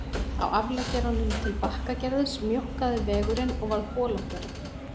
Á afleggjaranum til Bakkagerðis mjókkaði vegurinn og varð holóttari